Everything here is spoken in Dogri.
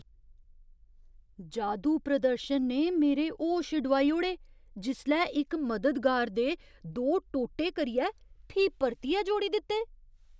जादू प्रदर्शन ने मेरे होश डुआई ओड़े जिसलै इक मददगार दे दो टोटे करियै फ्ही परतियै जोड़ी दित्ते।